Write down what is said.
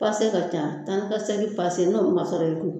Pase ka ca taa ni ka segi pase ka ca n'o sɔrɔ i kun